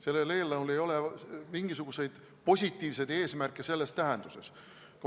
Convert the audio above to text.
Sellel eelnõul ei ole mingisuguseid positiivseid eesmärke selles tähenduses.